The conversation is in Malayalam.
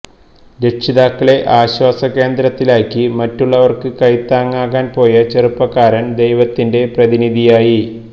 രക്ഷിതാക്കളെ ആശ്വാസ കേന്ദ്രത്തിലാക്കി മറ്റുള്ളവര്ക്ക് കൈത്താങ്ങാകാന് പോയ ചെറുപ്പക്കാരന് ദൈവത്തിന്റെ പ്രതിനിധിയായി